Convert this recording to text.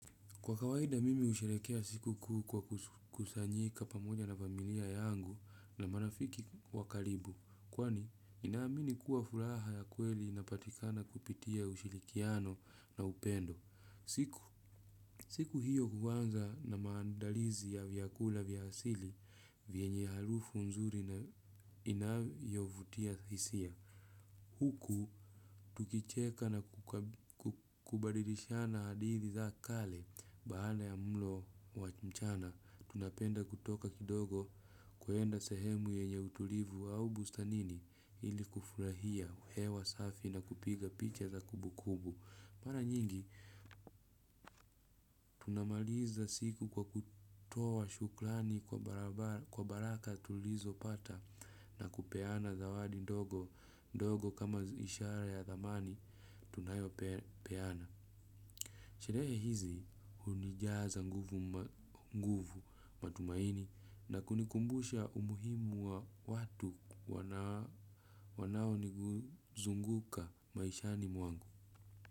Kwa kawaida mimi ushelekea siku kuu kwa kusanyika pamoja na familia yangu na marafiki wakalibu. Kwani ninaamini kuwa fulaha ya kweli napatikana kupitia ushilikiano na upendo. Siku hiyo kuanza na maandalizi ya vyakula vyasili vienye halufu nzuri na inayovutia hisia. Huku, tukicheka na kubadilishana hadithi za kale, baada ya mlo wa mchana, tunapenda kutoka kidogo kwenda sehemu yenye utulivu au bustanini ili kufurahia hewa safi na kupiga picha za kubukubu. Mara nyingi, tunamaliza siku kwa kutowa shuklani kwa baraka tulizo pata na kupeana zawadi ndogo kama ishara ya thamani tunayo peana. Sheree hizi unijaza nguvu matumaini na kunikumbusha umuhimu wa watu wanao nizunguka maishani mwangu.